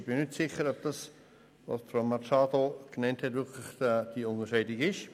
Ich bin nicht sicher, ob das, was Grossrätin Machado genannt hat, wirklich diese Unterscheidung ist.